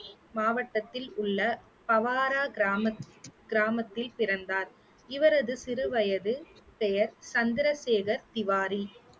மாவட்டத்தில் உள்ள பவாரா கிராமத்தில் கிராமத்தில் பிறந்தார் இவரது சிறு வயது பெயர் சந்திரசேகர் திவாரி